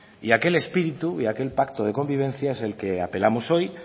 y aquel espíritu y aquel pacto de convivencia es el que apelamos hoy